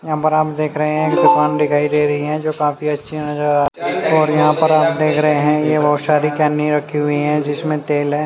यहापर आप देख दुकान दिखाई दे रहे है जो काफी अच्छी नज़र आ रही है यहापर आप देख रहे है रखी हुयी है जिसमे तेल है।